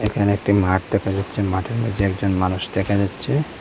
এখানে একটি মাঠ দেখা যাচ্ছে মাঠের মাঝে একজন মানুষ দেখা যাচ্ছে।